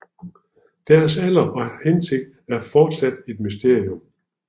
Deres alder og hensigt er fortsat et mysterium